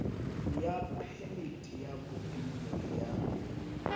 ya phemiti ya bodulo ya